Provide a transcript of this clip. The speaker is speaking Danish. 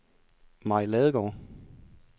Mai Ladegaard